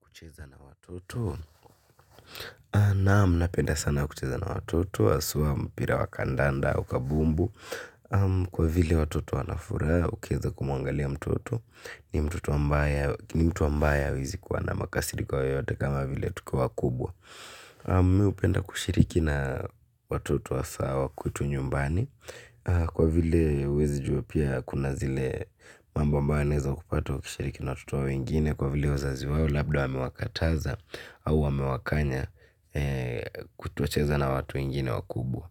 Kucheza na watoto, naam napenda sana kucheza na watoto, haswa mpira wa kandanda, ua kabumbu, kwa vile watoto wanafuraha ukiweza kumuangalia mtoto, ni mtoto ambaye hawezi kuwa na makasiriko yoyote kama vile tuku wa kubwa. Mi upenda kushiriki na watoto wa sawa kutu nyumbani. Kwa vile uwezi juo pia kuna zile mamba mba aneza kupata kushiriki na watoto wa ingine. Kwa vile uzazi wawo labda wamewakataza au wamewakanya kutocheza na watu wengine wakubwa.